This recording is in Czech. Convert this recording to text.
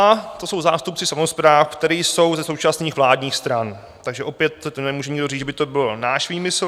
A to jsou zástupci samospráv, kteří jsou ze současných vládních stran, takže opět nemůže nikdo říct, že by to byl náš výmysl.